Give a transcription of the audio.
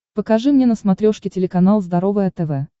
покажи мне на смотрешке телеканал здоровое тв